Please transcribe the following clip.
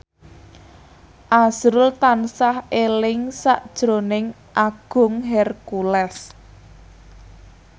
azrul tansah eling sakjroning Agung Hercules